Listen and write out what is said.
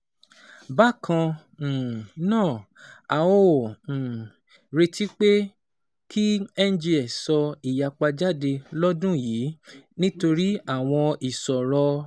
Bákan um náà, a ò um retí pé kí NGX sọ ìyapa jáde lọ́dún yìí nítorí àwọn ìṣòro